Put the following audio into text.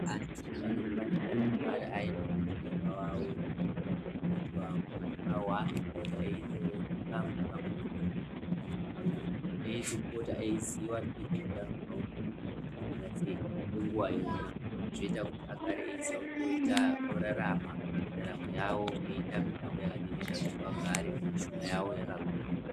Antu anofanirwe kugara ainaa chiremba wavo avo kana mukoti avo avanopota eindoona kamwe pamwedzi kana kaviri eizopota eiziva ngezveutano hwavo kuti hwakanira sei kwenguva yona. Zvoita kuti agare eiziya kuti orarama ndaramo yavo eiita mitambo yakadini inoita kuti vagare mishuna yavo yakagwinya.